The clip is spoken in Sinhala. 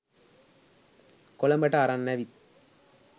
කොළඹට අරන් ඇවිත්